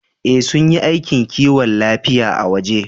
Ee, sun yi aikin kiwon lafiya a waje